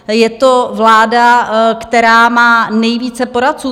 Je to vláda, která má nejvíce poradců.